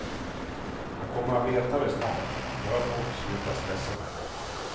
Jag kommer veta det snart, bara folk slutar stressa mig.